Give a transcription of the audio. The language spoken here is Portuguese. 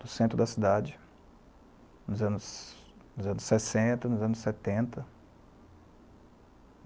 no centro da cidade, nos anos nos anos sessenta, nos anos setenta